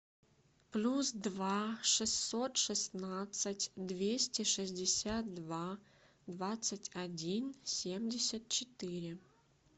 плюс два шестьсот шестнадцать двести шестьдесят два двадцать один семьдесят четыре